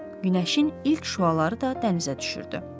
Günəşin ilk şüaları da dənizə düşürdü.